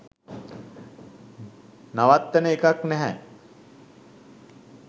නවත්වන එකක් නැහැ